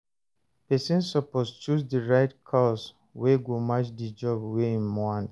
Persin suppose choose di right course wey go match di job wey im want